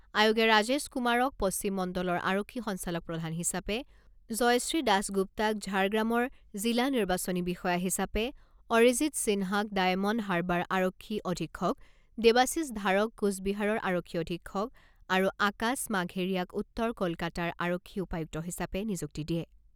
আয়োগে ৰাজেশ কুমাৰক পশ্চিম মণ্ডলৰ আৰক্ষী সঞ্চালকপ্ৰধান হিচাপে, জয়শ্ৰী দাসগুপ্তাক ঝাৰগ্ৰামৰ জিলা নিৰ্বাচনী বিষয়া হিচাপে অৰিজিৎ সিনহাক ডায়মণ্ড হাৰ্বাৰ আৰক্ষী অধীক্ষক, দেৱাশিষ ধাৰক কোচবিহাৰৰ আৰক্ষী অধীক্ষক আৰু আকাশ মাঘেৰীয়াক উত্তৰ কলকাতাৰ আৰক্ষী উপায়ুক্ত হিচাপে নিযুক্তি দিয়ে।